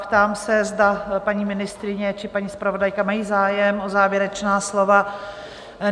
Ptám se, zda paní ministryně či paní zpravodajka mají zájem o závěrečná slova?